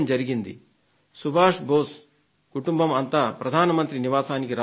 శ్రీ సుభాష్ బోసు కుటుంబం అంతా ప్రధాన మంత్రి నివాసానికి రావాలని